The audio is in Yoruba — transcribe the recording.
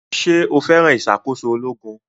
Ṣé o fẹ́ràn ìṣàkóso ológun